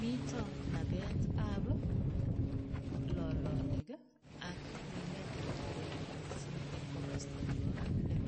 Mito nabetab lolonik ak minetab teronik mising eng komosta nebo kaplem.